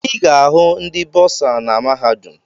Ị ga-ahụ ndị bọọsa na mahadum.